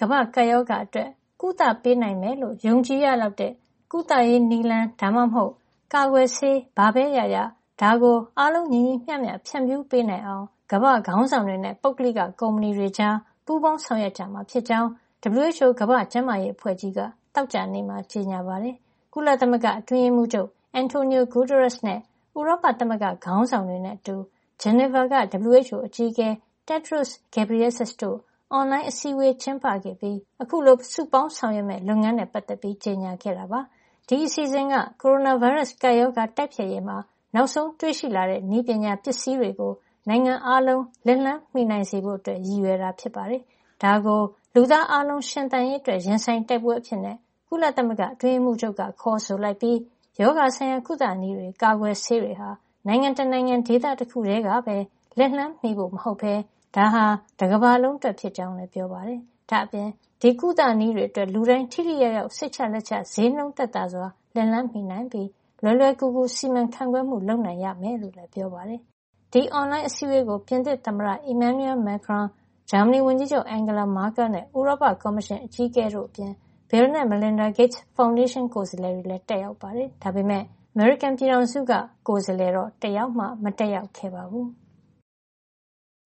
ကမ္ဘာ့ကပ်ရောဂါ အတွက် ကုသပေးနိုင်မယ်လို့ ယုံကြည်စိတ်ချရလောက်တဲ့ နည်းလမ်း ဒါမှမဟုတ် ကာကွယ်ဆေး ဘာပဲ ရရ ဒါကို အားလုံးညီညီမ ျှမ ျှ ဖြန့်ဖြူးပေးနိုင်အောင် ကမ္ဘာ့ ခေါင်းဆောင်တွေနဲ့ ပုဂ္ဂလိက ကုမွှဏီတွေကြား ပူးပေါင်းဆောင်ရွက်ကြမှာ ဖြစ်ကြောင်း WHO ကမ္ဘာ့ကျန်းမာရေး အဖွဲ့ကြီးက သောကြာနေ့မှာ ကြေညာပါတယ်။ ကုလသမဂ္ဂအတွင်းရေးမှုးချုပ် Antonio Guterres နဲ့ ဥရောပသမဂ္ဂခေါင်းဆောင်တွေ နဲ့အတူ ဂျနီဗာက WHO အကြီးအကဲ Tedros Adhanom Ghebreyesus တို့ အွန်လိုင်းအစည်းဝေး ကျင်းပခဲ့ပြီး အခုလို စုပေါင်းဆောင်ရွက်မယ့် လုပ်ငန်းနဲ့ပတ်သက်ပြီး ကြေညာခဲ့တာပါ။ ဒီအစီစဉ်က ကိုရိုနာဗိုင်းရပ်စ် ကပ်ရောဂါ တိုက်ဖျက်ရေးမှာ နောက်ဆုံးတွေ့ရှိလာတဲ့နည်းပညာ ပစ္စည်းတွေကို နိုင်ငံအားလုံး လက်လှမ်း မှီနိုင်စေဖို့ ရည်ရွယ်တာ ဖြစ်ပါတယ်။ ဒါကို လူသားအားလုံးရှင်သန်ရေးအတွက် ရင်ဆိုင်တိုက်ပွဲအဖြစ် ကုလသမဂ္ဂ အတွင်းရေးမှုူးချုပ်က ခေါ်ဆိုလိုက်ပြီး ရောဂါဆိုင်ရာ ကုသနည်းတွေ၊ ကာကွယ်ဆေးတွေဟာ နိုင်ငံတနိုင်ငံ၊ ဒေသတခုထဲကပဲ လက်လှမ်းမှီဖို့ မဟုတ်ပဲ ဒါဟာ တကမ္ဘာလုံး အတွက်ဖြစ်ကြောင်းလည်း ပြောပါတယ်။ ဒါ့အပြင် ဒီကုသနည်းတွေ အတွက် လူတိုင်း ထိထိရောက်ရောက်နဲ့ စိတ်ချလက်ချ ဈေးနှုန်းသက်သာစွာ လက်လှမ်းမှီနိုင်ပြီး လွယ်လွယ်ကူကူ စီမံ ခန့်ခွဲမှုလည်း လုပ်နိုင်ရမယ်လို့ ပြောပါတယ်။ ဒီအွန်လိုင်း အစည်းဝေးကို ပြင်သစ်သမ္မတ Emmanuel Macron ၊ ဂျာမဏီဝန်ကြီးချုပ် Angela Merkel နဲ့ ဥရောပကော်မရှင် အကြီးအကဲ Ursula von der Leyen တို့အပြင် Bill နဲ့ Melinda Gates ဖေါင်ဒေးရှင်းက ကိုယ်စားလှယ်တွေလည်း တက်ရောက်ကြပါတယ်။ ဒါပေမယ့် အမေရိကန် ပြည်ထောင်စုက ကိုယ်စားလှယ်တော့ တယောက်မှ မတက်ရောက်ခဲ့ပါဘူး။